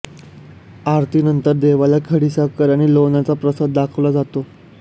आरतीनंतर देवाला खडीसाखर आणि लोण्याचा प्रसाद दाखवला जातो